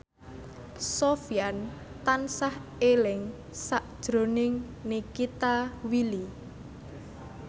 Sofyan tansah eling sakjroning Nikita Willy